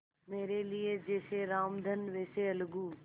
मेरे लिए जैसे रामधन वैसे अलगू